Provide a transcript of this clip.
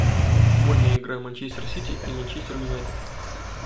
футбольная игра манчестер сити и манчестер юнайтед